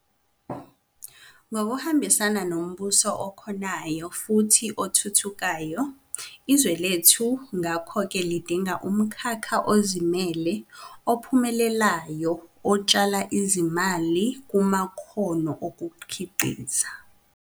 Ngokuhambisana nombuso okhonayo futhi othuthukayo, izwe lethu ngakho-ke lidinga umkhakha ozimele ophumelelayo otshala izimali kumakhono okukhiqiza.